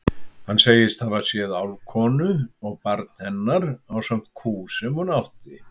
Hann segist hafa séð álfkonu og barn hennar ásamt kú sem hún átti.